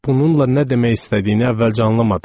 Bununla nə demək istədiyini əvvəlcə anlamadım.